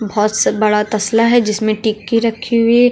बहुत से बड़ा तसला है जिसमें टिक्की रखी हुई।